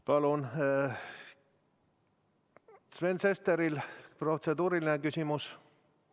Kas Sven Sesteril on protseduuriline küsimus?